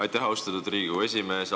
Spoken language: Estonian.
Aitäh, austatud Riigikogu esimees!